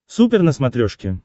супер на смотрешке